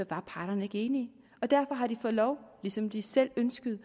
parterne ikke enige og derfor har de fået lov ligesom de selv ønskede